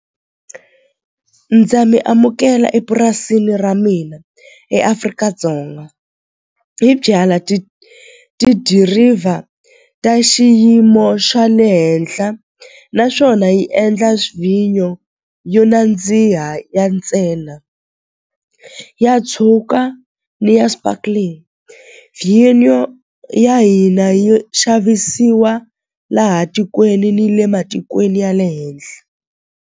Ndza mi amukela epurasini ra mina eAfrika-Dzonga hi byalwa tidiriva ta xiyimo xa le henhla naswona hi endla vhinyo yo nandziha ya ntsena ya tshuka ni ya sparkling vhinyo ya hina yi xavisiwa laha tikweni ni le matikweni ya le henhla.